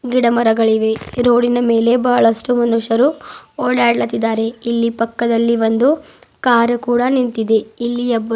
ಗಿಡ ಮರಗಳಿವೆ ಈ ರೋಡಿ ನ ಮೇಲೆ ಬಹಳಷ್ಟು ಮನುಷ್ಯರು ಓಡಾಡಲತ್ತಿದ್ದಾರೆ ಇಲ್ಲಿ ಪಕ್ಕದಲ್ಲಿ ಒಂದು ಕಾರು ಕೂಡ ನಿಂತಿದೆ ಇಲ್ಲಿ ಒಬ್ಬರು --